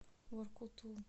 воркуту